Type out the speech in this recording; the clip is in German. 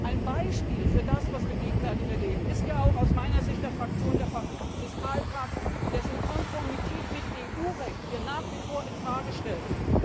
Ein Beispiel für das, was wir gegenwärtig erleben, ist aus der Sicht meiner Fraktion der Fiskalpakt, dessen Konformität mit EU Recht wir nach wie vor in Frage stellen.